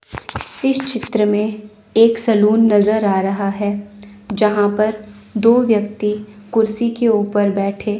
इस चित्र में एक सलून नजर आ रहा है जहां पर दो व्यक्ति कुर्सी के ऊपर बैठे--